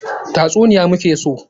Tatsuniya mu ke so!